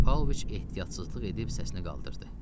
Pavloviç ehtiyatsızlıq edib səsini qaldırdı.